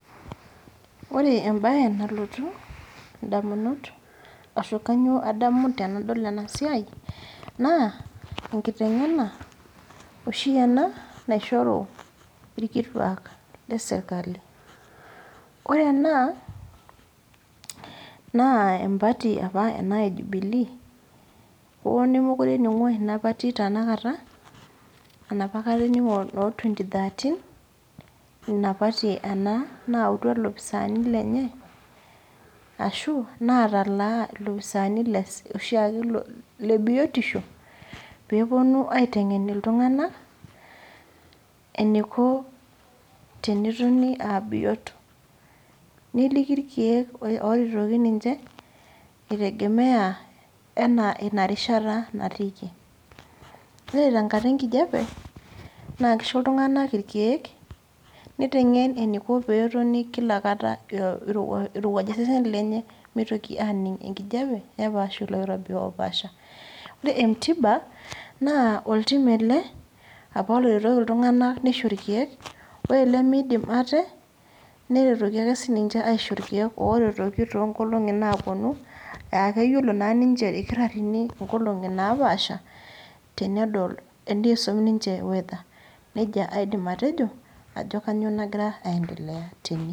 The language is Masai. Ore ebae nalotu indamunot, ashu kanyioo adamu tenadol enasiai, naa, enkiteng'ena oshi ena naishoru irkituak lesirkali. Ore ena, naa empati apa ena e Jubilee, hoo nemekure ening'o ina pati tanakata, enapa kata ening'o no twenty - thirteen cs], ina pati ena nautua ilopisaani lenye, ashu natalaa ilopisaani loshiake lebiotisho, peponu aiteng'en iltung'anak, eniko tenetoni abiot. Neliki irkeek oretoki ninche, itegemea enaa inarishata natiiki. Ore tenkata enkijape, naa kisho iltung'anak irkeek, niteng'en eniko peetoni kila kata irowuaja seseni lenye mitoki aning' enkijape, nepaash oloirobi opaasha. Ore entiba, naa oltim ele, apa loretoki iltung'anak nisho irkeek, ore limidim ate, niretoki ake sininche aisho irkeek oretoki tonkolong'i naponu, akeyiolo naa ninche irkitaarrini inkolong'i napaasha, tenedol enisum ninche weather. Nejia aidim atejo, ajo kanyioo nagira aendelea tene.